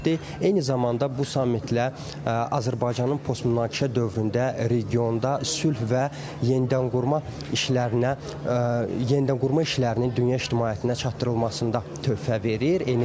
Eyni zamanda bu sammitlə Azərbaycanın postmünaqişə dövründə regionda sülh və yenidənqurma işlərinə yenidənqurma işlərinin dünya ictimaiyyətinə çatdırılmasında töhfə verir.